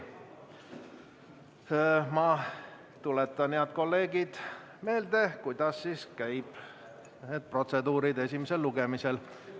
Ma tuletan teile, head kolleegid, meelde, kuidas käib protseduur esimesel lugemisel.